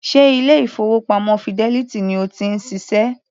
Ṣe ilé-ìfowópamọ́ Fidelity ni o ti ń ṣiṣẹ́?